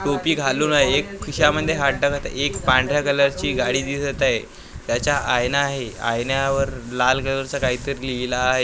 टोपी घालून एक खिशामध्ये हात टाकत एक पांढऱ्या कलरची गाडी दिसत आहे त्याच्या आईना आहे आईन्यावर लाल कलरचं काहीतरी लिहिलं आहे .